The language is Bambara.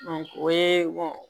o ye